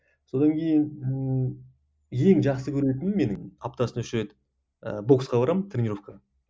содан кейін ммм ең жақсы көретінім менің аптасына үш рет і боксқа барамын тренеровкаға